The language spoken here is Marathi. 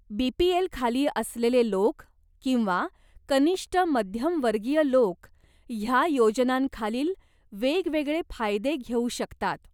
बीपीएल खाली असलेले लोक किंवा कनिष्ट मध्यम वर्गीय लोक ह्या योजनांखालील वेगवेगळे फायदे घेऊ शकतात.